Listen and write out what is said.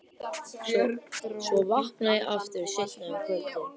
Svo vakna ég aftur seinna um kvöldið.